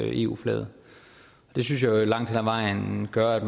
eu flaget det synes jeg langt hen ad vejen gør at